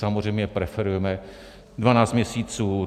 Samozřejmě preferujeme dvanáct měsíců.